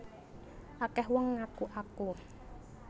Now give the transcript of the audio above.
Akeh wong ngaku aku